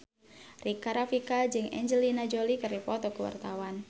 Rika Rafika jeung Angelina Jolie keur dipoto ku wartawan